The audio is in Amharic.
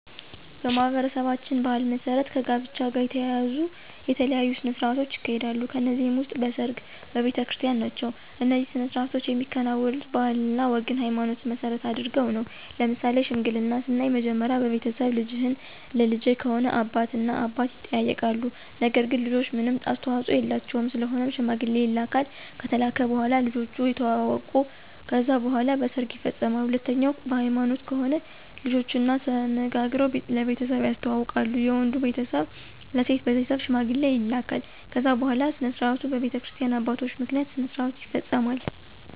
በማኅበረሰባችን ባሕል መሠረት ከጋብቻ ጋር የተያያዙ የተለያዩ ሥነ ሥርዓቶች ይካሄዳሉ ከነዚህም ውስጥ በሰርግ፣ በቤተክርስቲን ናቸው። እነዚህ ሥነ ሥርዓቶች የሚከናወኑት ባህልና ወግንና ሀይማኖትን መሰረት አድርገው ነው። ለምሳሌ ሽምግልናን ስናይ መጀመሪያ በቤተሰብ ልጅህን ለልጀ ከሆነ አባት እና አባት ይጠያይቃሉ ነገር ግን ልጆች ምንም አስተዋፆ የላቸውም ስለሆነም ሽማግሌ ይላካል ከተላከ በኋላ ልጆቹ የተዋወቃሉ ከዛ በኋላ በሰርግ ይፈፀማል። ሁለተኛው በሀይማኖት ከሆነ ልጆችና ተነጋግረው ለቤተሰብ ያስተዋውቃሉ የወንዱ ቤተሰብ ለሴት ቤተሰብ ሽማግሌ ይላካል ከዛ በኋላ ስነስርዓቱ በቤተክርስቲያ አባቶች ምክንያት ስነስርዓቱ ይፈፀማል።